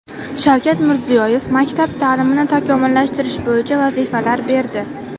Shavkat Mirziyoyev maktab ta’limini takomillashtirish bo‘yicha vazifalar berdi.